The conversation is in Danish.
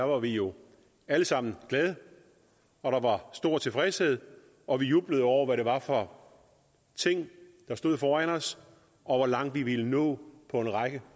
var vi jo alle sammen glade og der var stor tilfredshed og vi jublede over hvad det var for ting der stod foran os og hvor langt vi ville nå på en række